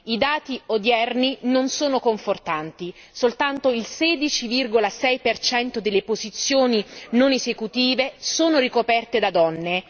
I dati odierni non sono confortanti soltanto il 16,6 percento delle posizioni non esecutive sono ricoperte da donne.